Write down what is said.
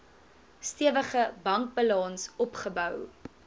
stewige bankbalans opgebou